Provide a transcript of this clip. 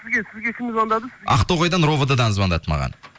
сізге кім звондады ақтоғайдан ровд дан звондады маған